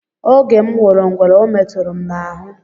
Oge m hụrụ ngwere ọ meturu m n'ahụ.